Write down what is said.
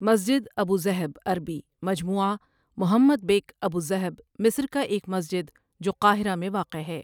مسجد ابو ذہب عربی مجموعة محمد بك أبو الذهب مصر کا ایک مسجد جو قاہرہ میں واقع ہے۔